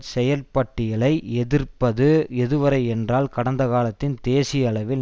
செயற்பட்டியலை எதிர்ப்பது எதுவரை என்றால் கடந்தகாலத்தின் தேசியளவில்